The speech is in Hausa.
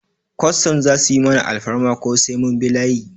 Kwastam za su yi mana alfarma ko sai mun bi layi?